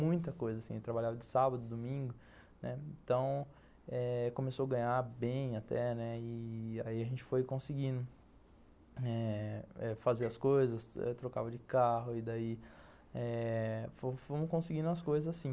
muita coisa assim, eu trabalhava de sábado, domingo, né, então começou a ganhar bem até e aí a gente foi conseguindo eh fazer as coisas, trocava de carro e daí eh fomos conseguindo as coisas assim.